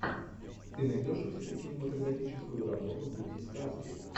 ты найдешь у себя кинематографическую работу в духе сказки